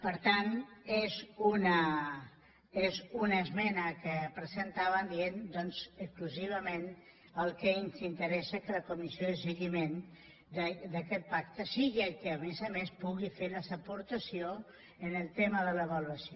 per tant és una esmena que presentàvem dient doncs exclusivament que el que ens interessa és que la comissió de seguiment d’aquest pacte sigui qui a més a més pugui fer la seva aportació en el tema de l’avaluació